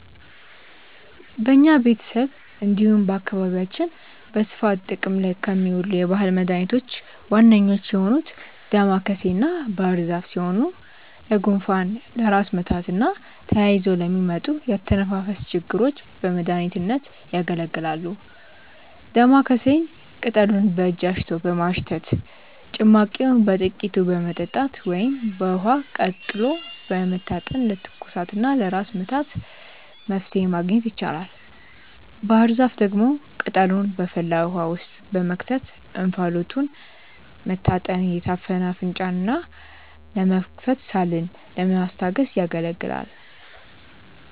በኛ ቤተሰብ እንዲሁም በአካባቢያችን በስፋት ጥቅም ላይ ከሚውሉ የባህል መድኃኒቶች ዋነኞቹ የሆኑት ዳማከሴና ባህርዛፍ ሲሆኑ ለጉንፋን፣ ለራስ ምታትና ተያይዘው ለሚመጡ የአተነፋፈስ ችግሮች በመድሀኒትነት ያገለግላሉ። ዳማከሴን ቅጠሉን በእጅ አሽቶ በማሽተት፣ ጭማቂውን በጥቂቱ በመጠጣት ወይም በውሃ ቀቅሎ በመታጠን ለትኩሳትና ለራስ ምታት መፍትሔ ማግኘት ይቻላል። ባህርዛፍ ደግሞ ቅጠሉን በፈላ ውሃ ውስጥ በመክተት እንፋሎቱን መታጠን የታፈነ አፍንጫን ለመክፈትና ሳልን ለማስታገስ ያገለግላል።